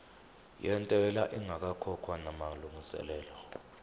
yentela ingakakhokhwa namalungiselo